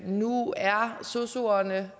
nu er sosuerne